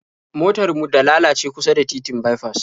Motar mu da lalace kusa da titin baifas